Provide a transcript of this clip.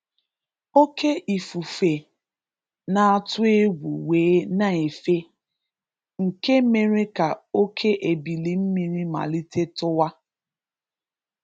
Oke ifufe na-atụ egwu wee na-efe, nke mere ka oke ebili mmiri malite tụwa.